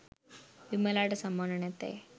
විමලාට සමාන නැතැයි